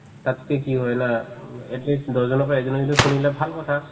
তাতকে কি হয় না উম at least দহজনৰ পৰা এজনে যদি শুনিলে ভাল কথা